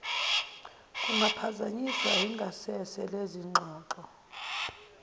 kungaphazanyiswa ingasese lezingxoxo